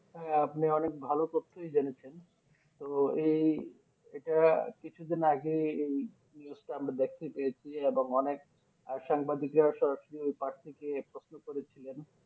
আহ আপনি অনেক ভালো তথই জেনেছেন তো এই এটা কিছুদিন আগে এই News টা আমরা দেখতে পেয়েছি এবং অনেক সংবাদিকরা সরাসরি ওই পার থেকে প্রশ্ন করেছিলেন